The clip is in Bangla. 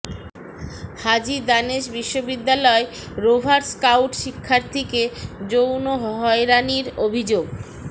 হাজী দানেশ বিশ্ববিদ্যালয় রোভার স্কাউট শিক্ষার্থীকে যৌন হয়রানির অভিযোগ